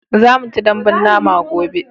za mu ci dambun nama gobe